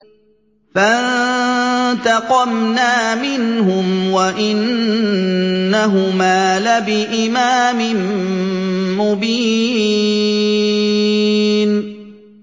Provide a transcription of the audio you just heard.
فَانتَقَمْنَا مِنْهُمْ وَإِنَّهُمَا لَبِإِمَامٍ مُّبِينٍ